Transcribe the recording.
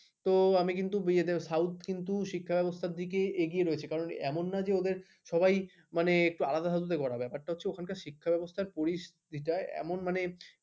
তো আমি বিয়েতে south কিন্তু শিক্ষা ব্যবস্থা দিকে এগিয়ে রয়েছে কারণ এমন না যে ওদের সবাই মানে একটু আলাদা ভাবে করাটা ব্যাপারটা হচ্ছে ওখানকার শিক্ষা ব্যবস্থা পরিস্থিতিটা এমন মানে